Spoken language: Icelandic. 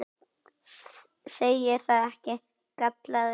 Segir það ekki? galaði Lúlli.